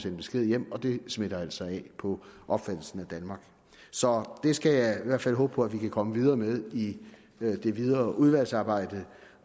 en besked hjem og det smitter altså af på opfattelsen af danmark så det skal jeg i hvert fald håbe på at vi kan komme videre med i det videre udvalgsarbejde